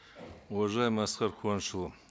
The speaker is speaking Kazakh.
уважаемый асқар куанышұлы